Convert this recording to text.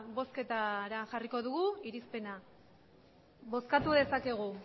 bozketara jarriko dugu irizpena bozkatu dezakegu